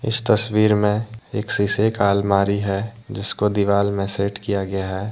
इस तस्वीर में एक सीसे का अलमारी है जिसको दीवाल में सेट किया गया है।